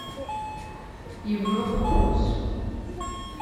европа плюс